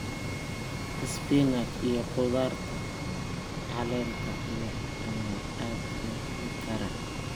Spinach iyo khudaarta caleenta leh ayaa aad loo heli karaa.